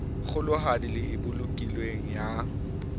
kgolohadi le e bolokilweng ya